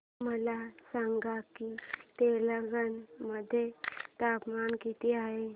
मला सांगा की तेलंगाणा मध्ये तापमान किती आहे